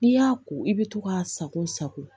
N'i y'a ko i bɛ to k'a sago sago